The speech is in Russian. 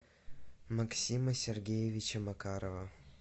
максима сергеевича макарова